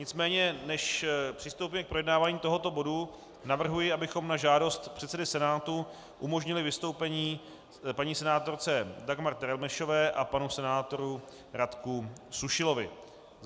Nicméně než přistoupíme k projednávání tohoto bodu, navrhuji, abychom na žádost předsedy Senátu umožnili vystoupení paní senátorce Dagmar Terelmešové a panu senátoru Radku Sušilovi.